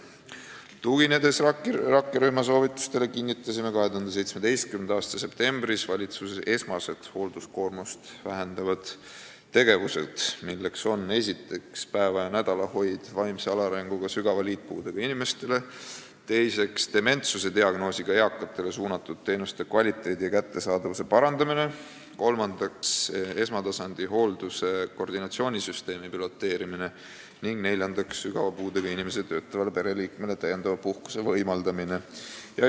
Tuginedes rakkerühma soovitustele, kinnitasime 2017. aasta septembris valitsuses esmased hoolduskoormust vähendavad tegevused: esiteks, päeva- ja nädalahoid vaimse alaarenguga sügava liitpuudega inimestele; teiseks, dementsusdiagnoosiga eakatele mõeldud teenuste kvaliteedi ja kättesaadavuse parandamine; kolmandaks, esmatasandi hoolduse koordinatsioonisüsteemi piloteerimine; neljandaks, sügava puudega inimese töötavale pereliikmele täiendava puhkuse võimaldamine.